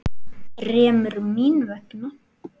Þremur. mín vegna.